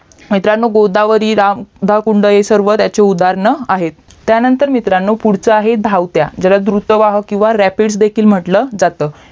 मित्रांनो गोदावरी दळकुंड हे सगळे ह्याचे उदाहरण आहेत त्यानंतर मित्रांनो पुढचा आहे धावत्या ज्याला धुर्ता वाहक किवा रॅपिड देखील म्हंटलं जात